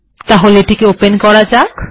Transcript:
তাহলে এটি ওপেন করা যাক